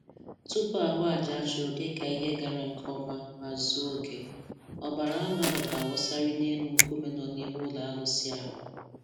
Tupu a hụ aja a chụrụ dịka ihe gara nke ọma ma zuo oke, ọbara anụ ahụ ga-awụsarịrị n'elu nkume nọ n'ihu ụlọ arụsị ha